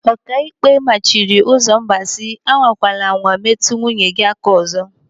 Okaikpe mmachiri Ụzọmba si, "Anwakwala anwa metụ nwunye gị aka ọzọ!"